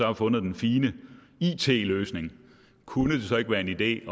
har fundet den fine it løsning kunne det så ikke være en idé